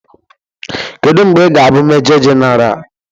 Kedu mgbe ị ga-abụ Mejọ Jenara?